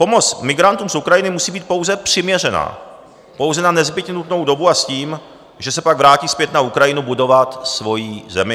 Pomoc migrantům z Ukrajiny musí být pouze přiměřená, pouze na nezbytně nutnou dobu a s tím, že se pak vrátí zpět na Ukrajinu budovat svoji zemi.